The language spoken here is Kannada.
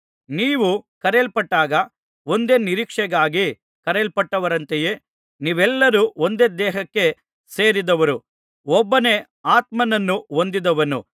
ನೀವು ಕರೆಯಲ್ಪಟ್ಟಾಗ ಒಂದೇ ನಿರೀಕ್ಷೆಗಾಗಿ ಕರೆಯಲ್ಪಟ್ಟವರಂತೆಯೇ ನೀವೆಲ್ಲರೂ ಒಂದೇ ದೇಹಕ್ಕೆ ಸೇರಿದವರು ಒಬ್ಬನೇ ಆತ್ಮನನ್ನು ಹೊಂದಿದವರು